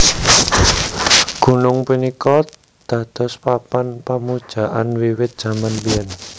Gunung punika dados papan pamujaan wiwit jaman biyén